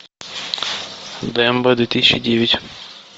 дмб две тысячи девять